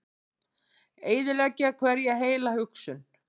Eyðileggja hverja heila hugsun.